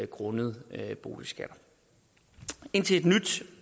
grundet boligskatter indtil et nyt